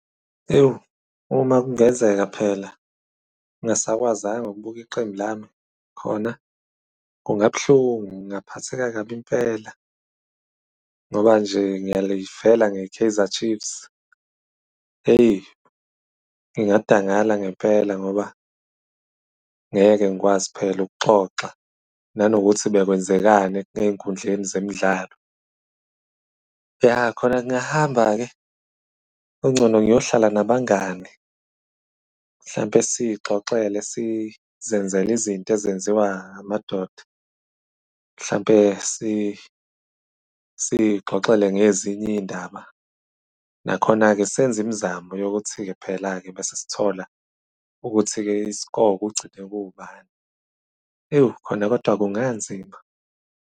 Yoh! Uma kungenzeka phela, ngingasakwazanga ukubuka iqembu lami, khona kungaba buhlungu, ngingaphatheka kabi impela. Ngoba nje ngiyalifela ngeKaizer Chiefs. Eyi! Ngingadangala ngempela ngoba ngeke ngikwazi phela ukuxoxa nanokuthi bekwenzekani ngey'nkundleni zemidlalo. Ya, khona ngingahamba-ke kungcono ngiyohlala nabangani. Mhlawumbe siy'xoxele sizenzele izinto ezenziwa amadoda, mhlawumbe siy'xoxele ngezinye iy'ndaba. Nakhona-ke senze imizamo yokuthi-ke, phela-ke bese sithola ukuthi-ke i-score kugcine kuwubani. Ewu! Khona kodwa kunganzima.